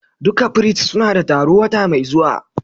Duka firist suna da taro wata mai zuwa.